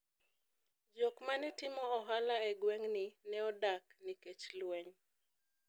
jok manetimo ohala e gweng' ni ne odar nikech lweny